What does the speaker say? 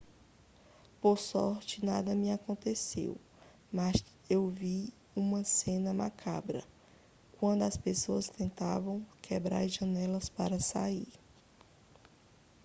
por sorte nada me aconteceu mas eu vi uma cena macabra quando as pessoas tentavam quebrar as janelas para sair